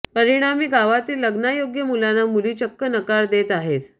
परिणामी गावातील लग्नायोग्य मुलांना मुली चक्क नकार देत आहेत